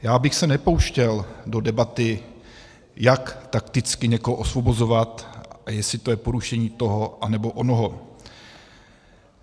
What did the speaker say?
Já bych se nepouštěl do debaty, jak takticky někoho osvobozovat a jestli to je porušení toho anebo onoho.